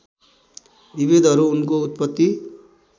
विभेदहरू उनको उत्पत्ति